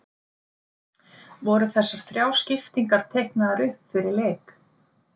Voru þessar þrjár skiptingar teiknaðar upp fyrir leik?